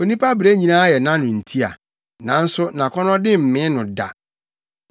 Onipa brɛ nyinaa yɛ nʼano ntia, nanso nʼakɔnnɔde mmee no da.